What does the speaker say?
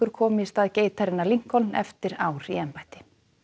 komi í stað geitarinnar eftir ár í embætti